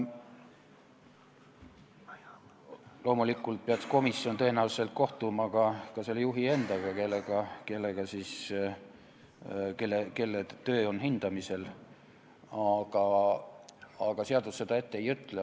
Komisjon peaks tõenäoliselt kohtuma ka selle juhi endaga, kelle töö on hindamisel, aga seadus seda ette ei ütle.